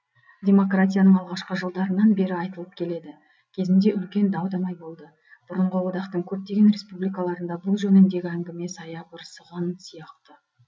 демократияның алғашқы жылдарынан бері айтылып келеді кезінде үлкен дау дамай болды бұрынғы одақтың көптеген республикаларында бұл жөніндегі әңгіме саябырсыған сияқты